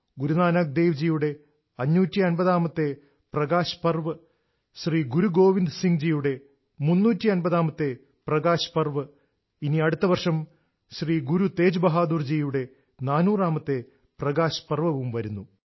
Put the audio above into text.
ഗുരു നാനക് ദേവ് ജിയുടെ 550ാമത്തെ പ്രകാശ് പർവ് ശ്രീ ഗുരു ഗോവിന്ദ് സിംഗ് ജിയുടെ 350ാമത്തെ പ്രകാശ് പർവ് ഇനി അടുത്ത വർഷം ശ്രീ ഗുരു തേജ് ബഹാദൂർ ജിയുടെ 400ാമത്തെ പ്രകാശ് പർവവും വരുന്നു